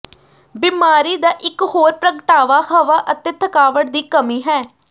ਬਿਮਾਰੀ ਦਾ ਇਕ ਹੋਰ ਪ੍ਰਗਟਾਵਾ ਹਵਾ ਅਤੇ ਥਕਾਵਟ ਦੀ ਕਮੀ ਹੈ